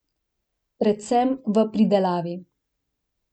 Predvsem v pridelavi.